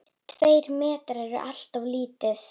Tveir metrar eru alltof lítið.